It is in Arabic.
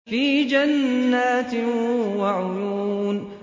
فِي جَنَّاتٍ وَعُيُونٍ